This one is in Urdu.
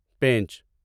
پینچ